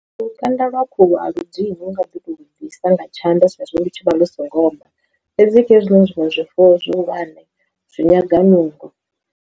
Lukanda lwa khuhu a lu ḓini unga ḓi to lu bvisa nga tshanḓa tsha hezwo lu tshivha lu so ngo oma, fhedzi kha hezwinoni zwiṅwe zwifuwo zwihulwane zwi nyaga nungo.